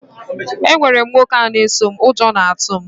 Enwere m nwoke a na-eso m, ụjọ na-atụ m